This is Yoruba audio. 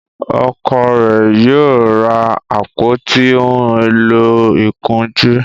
Ọkọ rẹ yíò ra àpótí òún èló ìkunjú